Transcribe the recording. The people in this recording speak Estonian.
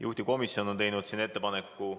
Juhtivkomisjon on teinud ettepaneku ...